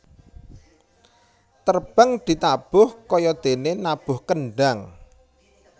Terbang ditabuh kayadéné nabuh kendhang